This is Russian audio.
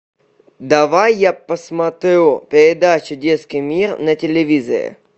давай я посмотрю передачу детский мир на телевизоре